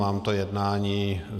Mám to jednání.